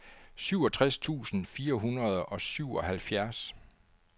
syvogtres tusind fire hundrede og syvoghalvfjerds